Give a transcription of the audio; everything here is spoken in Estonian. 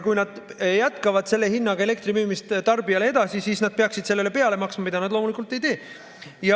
Kui nad jätkavad tarbijale selle hinnaga elektri müümist, siis nad peaksid sellele peale maksma, mida nad loomulikult ei tee.